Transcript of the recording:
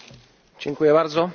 Pani Przewodnicząca!